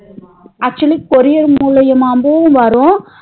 Actually courier மூழியமாவே வரும்